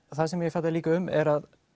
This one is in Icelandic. það sem ég fjalla líka um er að